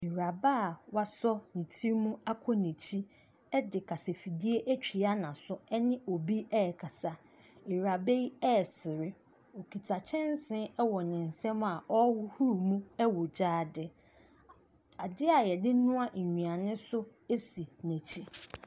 Awuraba a wasɔ ne ti mu akɔ n'akyi de kasafidie atua n'aso ne obi rekasa. Awuraba yi resere. Ɔkita kyɛnsee wɔ ne nsam a ɔrehohoro mu wɔ gyaade. Adeɛ a wɔde noa nnuane nso si n'akyi.